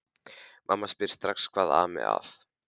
Mamma spyr strax hvað ami að.